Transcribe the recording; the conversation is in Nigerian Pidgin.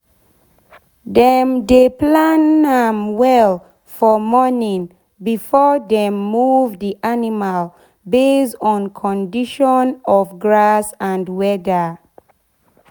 dem dey plan am well for morning before dem move d animal base on condition of grass and weather.